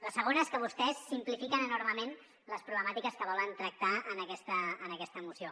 la segona és que vostès simplifiquen enormement les problemàtiques que volen tractar en aquesta moció